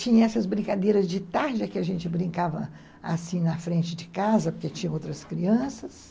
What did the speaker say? Tinha essas brincadeiras de tarde, que a gente brincava assim na frente de casa, porque tinha outras crianças.